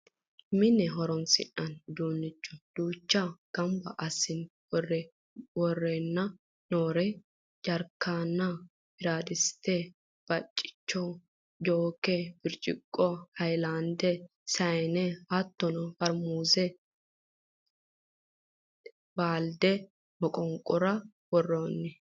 mine horonsi'nanni uduunne duucha ganaba assine worreenna noore jarkeena, bieadiste, baccicho, jooke birciqqo hayiilaande sayiine hattono farmuzenna baalde moqonqora worroonni